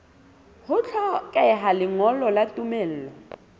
ho hlokeha lengolo la tumello